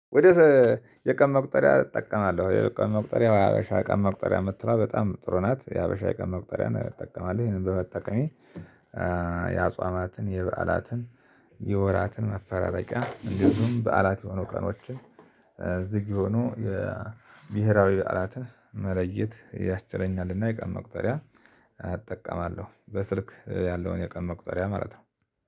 ወደ የቀን መቁጠሪያ እጠቀማለሁ የቀን መቁጠሪያ የሀበሻ የቀን መቁጠሪያ መምትለዋ በጣም ጥሩ ናት የሀበሻ የቀን መቁጠሪያ እጠቀማለሁ ይሄንን በመጠቀሜ። የአጽዋማትን የበዓላትን የወራትን መፈራረቂያ እንዲሁም በዓላት የሆኑ ቀኖችን ዝግ የሆኑ ብሄራዊ በዓላትን መለየት ያስችለኛልና የቀን መቁጠሪያ አጠቀማለሁ። በስልክ ያለውን የቀን መቁጠሪያ ማለት ነው